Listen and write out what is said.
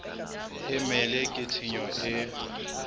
e mele ke tshenyo e